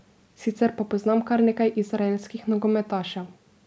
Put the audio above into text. Sicer pa poznam kar nekaj izraelskih nogometašev.